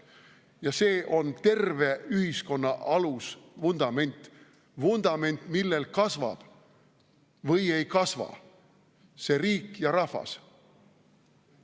Ja see on terve ühiskonna alusvundament – vundament, millel kasvab või ei kasva see riik ja rahvas.